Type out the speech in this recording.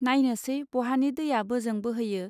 नायनोसै बहानि दैया बोजों बोहैयो